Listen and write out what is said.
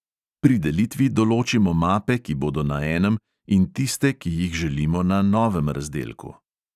Pri delitvi določimo mape, ki bodo na enem, in tiste, ki jih želimo na novem razdelku.